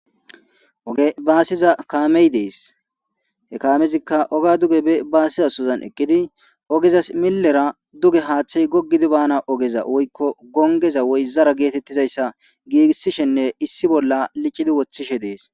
Oge baasiza kaamee de7ees; he kaamezikka ogiya be baasiza sohozan eqqidi ogezas millera duge haaththay goggidi baana ogeza woykko gonggeza woy zara giigissishinne issi bolla licide woththishe de7ees.